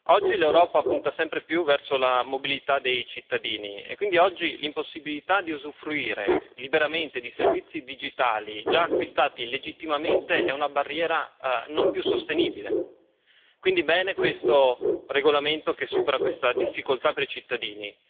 Oggi l'Europa punta sempre più verso la mobilità dei cittadini e quindi l'impossibilità di usufruire liberamente di servizi digitali già acquistati legittimamente è una barriera non più sostenibile, quindi bene questo regolamento che supera tale difficoltà per i cittadini.